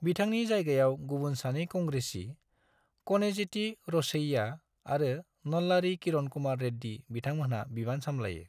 बिथांनि जायगायाव गुबुन सानै कंग्रेसी क'निजेती रोसैया आरो नल्लारी किरण कुमार रेड्डी बिथांमोनहा बिबान सामलायो।